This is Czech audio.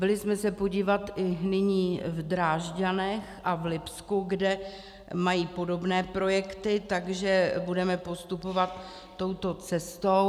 Byli jsme se podívat nyní i v Drážďanech a v Lipsku, kde mají podobné projekty, tak budeme postupovat touto cestou.